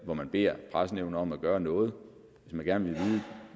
hvor man beder pressenævnet om at gøre noget og gerne vil vide